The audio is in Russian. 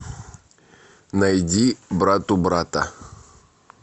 найди братубрата